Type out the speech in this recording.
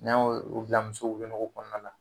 N'an ye o bila muso wolonugu kɔnɔna na